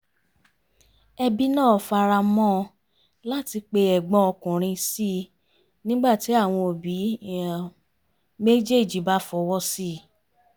ẹbí náà faramọ́ ọn láti pe ẹ̀gbọ́n ọkùnrin sí i nígbà tí àwọn òbí méjéèjì bá fọwọ́ sí i